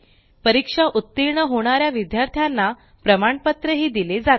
परीक्षा उत्तीर्ण होणाऱ्या विद्यार्थ्यांना प्रमाणपत्र दिले जाते